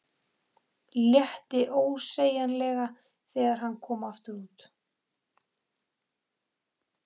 Létti ósegjanlega þegar hann kom aftur út.